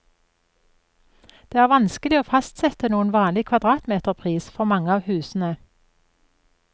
Det er vanskelig å fastsette noen vanlig kvadratmeterpris for mange av husene.